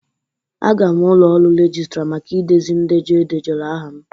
Aga m ụlọ ọrụ registra maka idezi ndejọ e edejọrọ aha m.